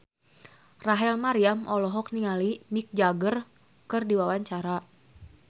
Rachel Maryam olohok ningali Mick Jagger keur diwawancara